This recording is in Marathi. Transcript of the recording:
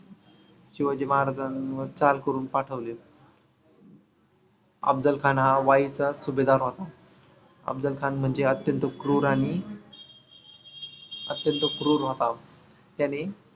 शिवाजी महाराजांवर चाल करून पाठवले. अफजलखान हा वाईचा सुभेदार होता. अफजलखान म्हणजे अत्यंत क्रूर आणि अत्यंत क्रूर होता. त्याने